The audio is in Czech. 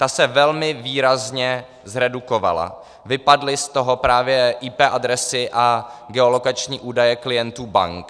Ta se velmi výrazně zredukovala, vypadly z toho právě IP adresy a geolokační údaje klientů bank.